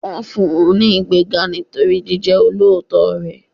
Wọn fún un ní ìgbéga nítorí jíjẹ olóòótọ́ rẹ̀.